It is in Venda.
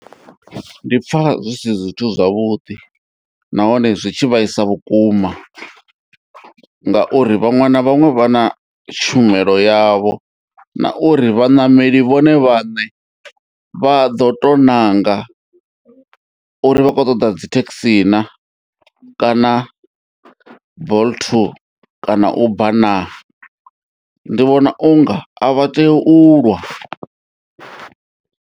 Ndi pfa zwi si zwithu zwavhuḓi nahone zwi tshi vhaisa vhukuma ngauri vhaṅwe na vhaṅwe vha na tshumelo yavho na uri vhaṋameli vhone vhaṋe vha ḓo to ṋanga uri vhakho ṱoḓa dzi thekhisi naa kana Bolt kana Uber naa ndi vhona unga a vha tea u lwa.